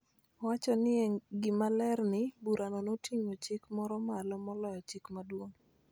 Owacho ni en gima ler ni, burano noting�o chik moro malo moloyo Chik Maduong�.